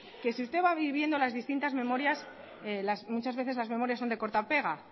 que si usted va viendo las distintas memorias muchas veces las memorias son de corta pega